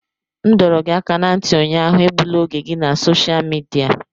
M dọrọ gị aka ná ntị ụnyaahụ, egbula oge gị na sosha midia!